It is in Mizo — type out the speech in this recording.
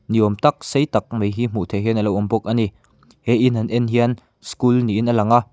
ni awm tak sei tak mai hi hmuh theih hian a lo awm bawk a ni he in han en hian school niin a lang a.